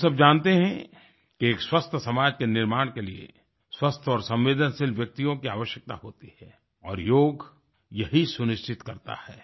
हम सब जानते हैं कि एक स्वस्थ समाज के निर्माण के लिए स्वस्थ और संवेदनशील व्यक्तियों की आवश्यकता होती है और योग यही सुनिश्चित करता है